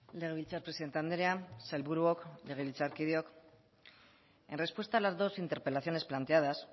legebiltzar presidente andrea sailburuok legebiltzarkideok en respuesta a las dos interpelaciones planteadas